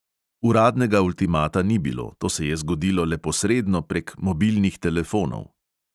Uradnega ultimata ni bilo, to se je zgodilo le posredno prek mobilnih telefonov.